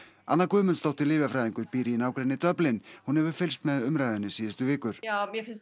anna Guðmundsdóttir lyfjafræðingur býr í nágrenni Dublin hún hefur fylgst með umræðunni síðustu vikur mér finnst